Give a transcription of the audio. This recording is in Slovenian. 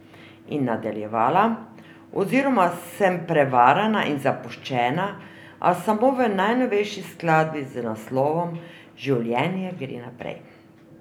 In nadaljevala: ''Oziroma sem prevarana in zapuščena, a samo v najnovejši skladbi z naslovom Življenje gre naprej.